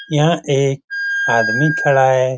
यहाँ एक आदमी खड़ा है ।